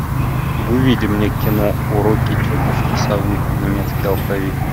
выведи мне кино уроки тетушки совы немецкий алфавит